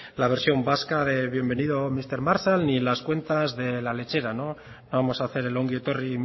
la versión vasca de bienvenido mister marshall ni las cuentas de las lechera no vamos a hacer el ongi etorri